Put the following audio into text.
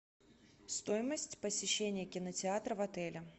стоимость посещения кинотеатра в отеле